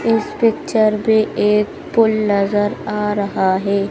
इस पिक्चर में एक पुल नजर आ रहा है।